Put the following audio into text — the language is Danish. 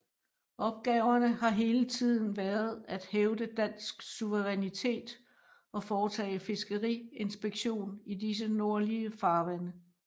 Opgaverne har hele tiden været at hævde dansk suverænitet og foretage fiskeriinspektion i disse nordlige farvande